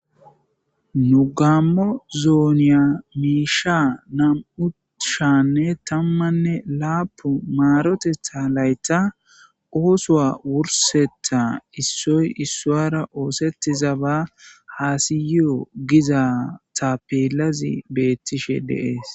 Nu gammo zonnen na"u shiyanne tammanne lapun maroteththa layiththan oththo wurseththa yotiza tappela qonccisidi besses